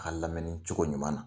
an lamɛni cogo ɲuman na.